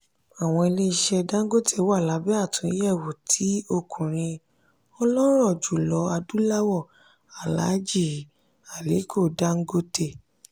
àwọn ilé-iṣẹ́ dangote wà lábẹ́ àtúnyẹ̀wò ti ọkùnrin ọlọ́rọ̀ jùlọ adúláwọ̀ alhaji aliko dangote.